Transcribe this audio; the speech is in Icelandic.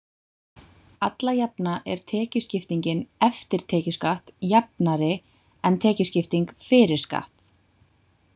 Alla jafna er tekjuskiptingin „eftir tekjuskatt“ jafnari en tekjuskipting „fyrir skatt“.